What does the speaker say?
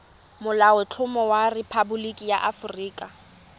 molaotlhomo wa rephaboliki ya aforika